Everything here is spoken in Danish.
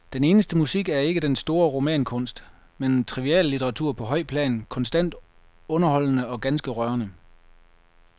Den eneste musik er ikke den store romankunst, men triviallitteratur på højt plan, konstant underholdende og ganske rørende.